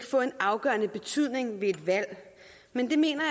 få en afgørende betydning ved et valg men det mener